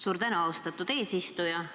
Suur tänu, austatud eesistuja!